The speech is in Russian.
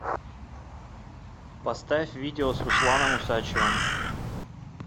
поставь видео с русланом усачевым